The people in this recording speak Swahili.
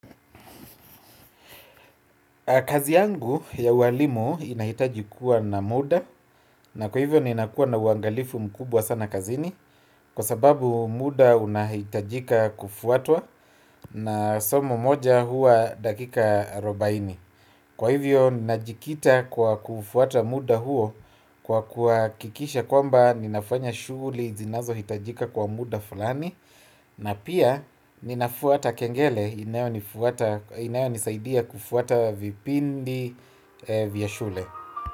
Kazi yangu ya ualimu inahitajikuwa na muda na kwa hivyo ninakua na uangalifu mkubwa sana kazini. Kwa sababu muda unahitajika kufuatwa na somo moja huwa dakika arobaini. Kwa hivyo ninajikita kwa kufuata muda huo kwa kuhakikisha kwamba ninafanya shughuli zinazo hitajika kwa muda fulani. Na pia ninafuata kengele inayonisaidia kufuata vipindi vya shule.